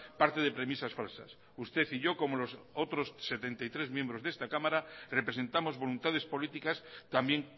parte de premisas falsas usted y yo como los otros setenta y tres miembros de esta cámara representamos voluntades políticas también